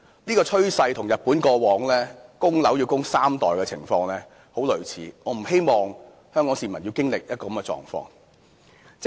這個趨勢與日本過往供樓要供三代人的情況很類似，我不希望香港市民要經歷一個這樣的狀況。